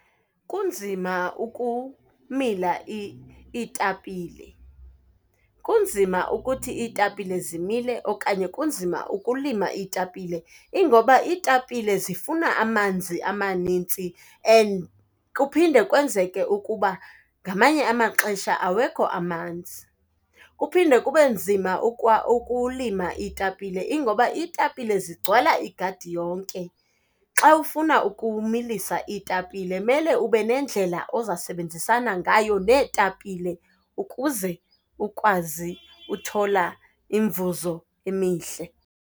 Kunzima ukumila iitapile. Kunzima ukuthi iitapile zimile okanye kunzima ukulima iitapile. Ingoba iitapile zifuna amanzi amanintsi and kuphinde kwenzeke ukuba, ngamanye amaxesha awekho amanzi. Kuphinde kube nzima ukulima iitapile, ingoba iitapile zigcwala igadi yonke. Xa ufuna ukumilisa iitapile, mele ube nendlela oza sebenzisana ngayo neetapile ukuze ukwazi uthola imivuzo emihle.